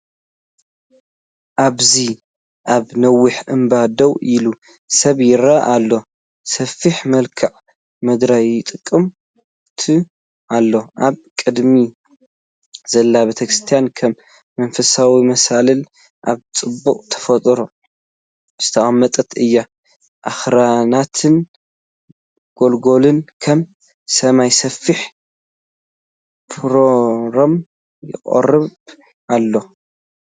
ኣብዚ ኣብ ነዊሕ እምባ ደው ኢሉ ሰብ ይረአ ኣሎ። ሰፊሕ መልክዓ ምድሪ ይጥምት ኣሎ። ኣብ ቅድሚኡ ዘላ ቤተክርስትያን ከም መንፈሳዊ መሳልል ኣብ ጽባቐ ተፈጥሮ ዝተቐመጠት እያ። ኣኽራናትን ጎላጉልን ከም ሰማይ ሰፊሕ ፓኖራማ የቕርቡ ኣለው።